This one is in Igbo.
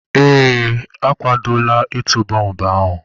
Ee, akwadola ịtụ bọmbụ ahụ.